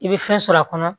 I bɛ fɛn sɔrɔ a kɔnɔ